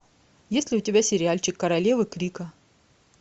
есть ли у тебя сериальчик королевы крика